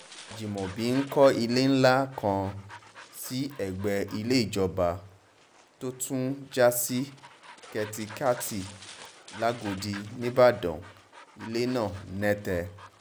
ajimobi ń kọ́ ilé ńlá kan sí ẹgbẹ́ ilé ìjọba tó tún já sí kèétakétì làgọ́dì nìbàdàn ilé náà nẹ́tẹ́